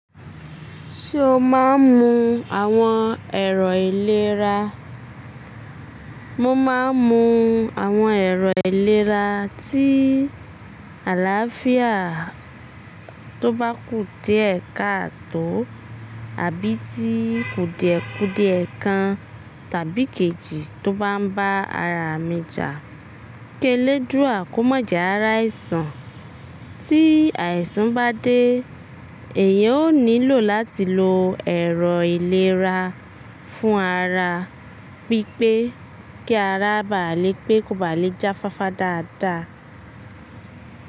Ṣé o máa ń mu àwọn ẹ̀rọ ìlera? Mo máa ń mu àwọn ẹ̀rọ ìlera tí àlàáfíà tó bá kú díẹ̀ káàtò àbí tí kù díẹ̀ kù díẹ̀ kan tàbí ikejì tó bá ń bá ara mi jà. Ki eledúra kọ́ma je ari àìsàn. Tí àìsàn bá dé, èèyàn ó nílò láti lo ẹ̀rọ ìlera fún ara, bí pé kí ara baa lè pé kò baá lè jáfáfá dáadáa.